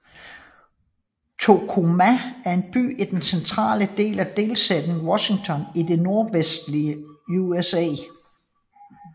Tacoma er en by i den centrale del af delstaten Washington i det nordvestlige USA